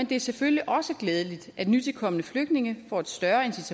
det er selvfølgelig også glædeligt at nytilkomne flygtninge får et større